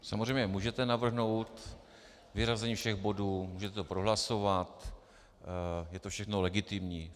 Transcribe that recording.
Samozřejmě můžete navrhnout vyřazení všech bodů, můžete to prohlasovat, je to všechno legitimní.